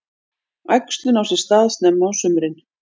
Æxlun á sér stað snemma á sumrin.